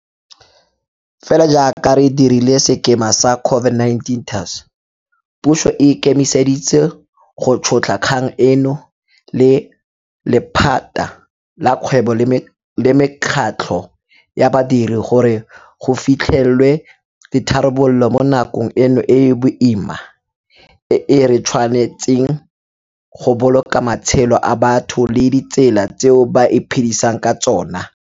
Fela jaaka re dirile ka sekema sa COVID-19 TERS, puso e ikemiseditse go tšhotlha kgang eno le lephata la kgwebo le mekgatlho ya badiri gore go fitlhelelwe ditharabololo mo nakong eno e e boima e re tshwanetseng go boloka matshelo a batho le ditsela tseo ba iphe disang ka tsona.